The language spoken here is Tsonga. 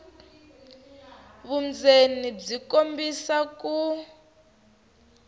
vundzeni byi kombisa ku